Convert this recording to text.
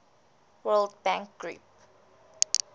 world bank group